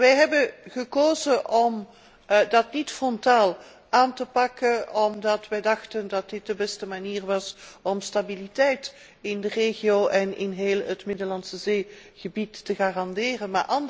Wij hebben gekozen om dat niet frontaal aan te pakken, omdat wij dachten dat dit de beste manier was om stabiliteit in de regio en in heel het Middellandse Zeegebied te garanderen.